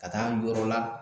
Ka taa yɔrɔ la.